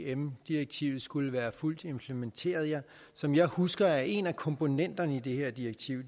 at ipm direktivet skulle være fuldt implementeret som jeg husker det er en af komponenterne i det her direktiv